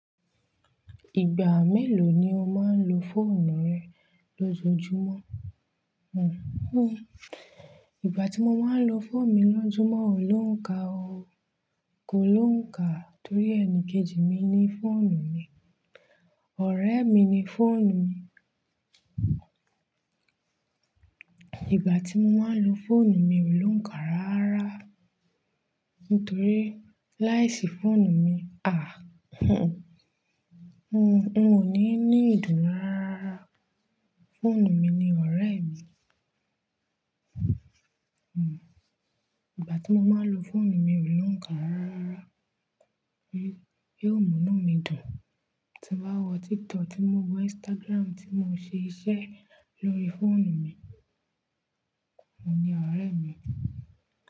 Ìgbà mélòó ni o máa ń lo fóònù rẹ lójoojúmọ́? Igbà tí mo máa ń lo fóònù mi lójúmọ́, ò lóùn ká o. Kò lóùn ká torí ẹni kejì mi ni fóònù mi. Ọ̀rẹ́ mi ni fóònù mi. Ìgbà tí mo máa ń lo fóònù mi ò lóùn ká ráárára. Nítorí láìsí fóònù mi, à, n o ní ní ìdùnnú ráráárá. Fóònù mi ni ọ̀rẹ́ mi. Igbà tí mo máa ń lo fóònù mi o lóùn ká rárárara. Bí ó mú inú mi dùn. Tí n bá wo TikTok tí mo wo Instagram tí mo ṣe iṣẹ́ lórí fóònù mi. Óhun ní ọ̀rẹ́ mi.